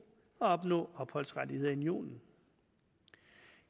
at opnå opholdsrettigheder i unionen